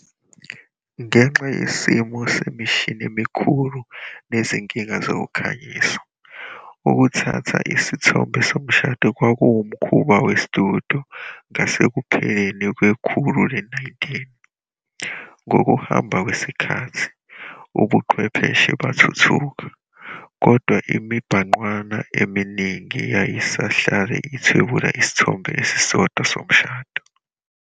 Ngenxa yesimo semishini emikhulu nezinkinga zokukhanyisa, ukuthatha izithombe zomshado kwakuwumkhuba we-studio ngasekupheleni kwekhulu le-19. Ngokuhamba kwesikhathi, ubuchwepheshe bathuthuka, kodwa imibhangqwana eminingi yayisahlala ithwebula isithombe esisodwa somshado.